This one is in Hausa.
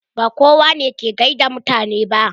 Ba kowa ne ke gaida mutane ba.